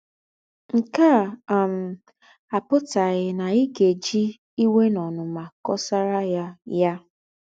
Ǹke à um àpùtàghì ná í gá-èjì íwè ná ònùnmà kọ̀sàrà ya yà.